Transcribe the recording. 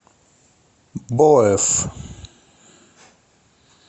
боэф